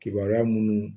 Kibaruya minnu